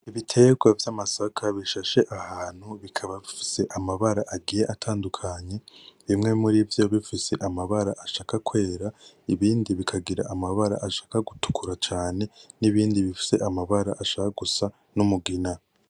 Ibiterwa vyamasaka bishashe ahantu bikaba bifise amabara agiye atandukanye bimwe murivyo bifise amabara ashaka kwera, ibindi bikagira amabara ashaka gutukura cane nibindi bifise amabara ashaka gusa n'umugina